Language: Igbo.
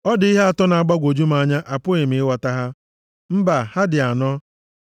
“Ọ dị ihe atọ na-agbagwoju m anya, apụghị m ịghọta ha; mbaa, ha dị anọ!